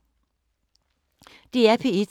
DR P3